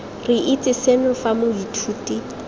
re itse seno fa moithuti